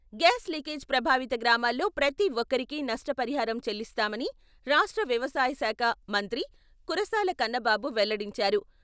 Gas leakage ప్రభావిత గ్రామాల్లో ప్రతి ఒక్కరికీ నష్టపరిహారం చెల్లిస్తామని రాష్ట్ర వ్యవసాయ శాఖ మంత్రి కురసాల కన్నబాబు వెల్లడించారు.